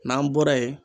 N'an bɔra yen